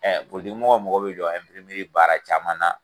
poliitigi mɔgɔ magɔ bɛ jɔ baara caman na.